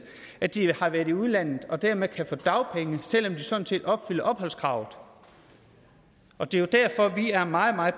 at de har været i udlandet og dermed kan få dagpenge selv om de sådan set opfylder opholdskravet og det er jo derfor vi er meget meget